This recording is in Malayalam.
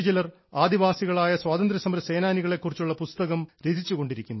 ആദിവാസികളായ സ്വാതന്ത്ര്യസമര സേനാനികളെ കുറിച്ചുള്ള പുസ്തകം രചിച്ചുകൊണ്ടിരിക്കുന്നു